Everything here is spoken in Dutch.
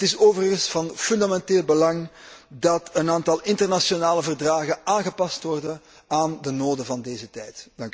Het is overigens van fundamenteel belang dat een aantal internationale verdragen aangepast worden aan de noden van deze tijd.